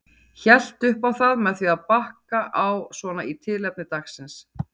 Hélt upp á það með því að bakka á svona í tilefni dagsins.